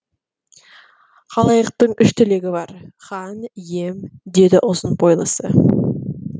халайықтың үш тілегі бар хан ием деді ұзын бойлысы